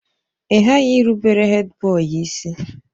Ị ghaghị ịrụbere Hèdbọyi isi!